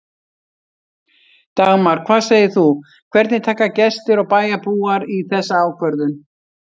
Dagmar, hvað segir þú, hvernig taka gestir og bæjarbúar í þessa ákvörðun?